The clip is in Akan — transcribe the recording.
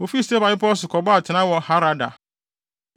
Wofii Sefer Bepɔw so kɔbɔɔ atenae wɔ Harada.